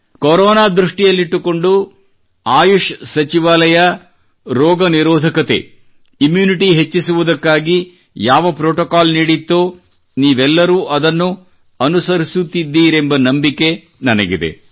corona ದೃಷ್ಟಿಯಲ್ಲಿಟ್ಟುಕೊಂಡು ಆಯುಷ್ ಸಚಿವಾಲಯವು ರೋಗನಿರೋಧಕತೆ ಇಮ್ಯೂನಿಟಿ ಹೆಚ್ಚಿಸುವುದಕ್ಕಾಗಿ ಯಾವ ಪ್ರೋಟೋಕಾಲ್ ನೀಡಿತ್ತೋ ಅದನ್ನು ತಾವೆಲ್ಲರೂ ಅನುಸರಿಸುತ್ತಿದ್ದೀರಿ ಎಂಬ ನಂಬಿಕೆ ನನಗಿದೆ